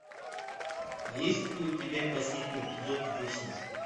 есть ли у тебя последний эпизод вечность